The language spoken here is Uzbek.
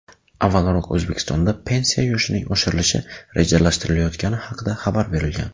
Avvalroq O‘zbekistonda pensiya yoshining oshirilishi rejalashtirilayotgani haqida xabar berilgan.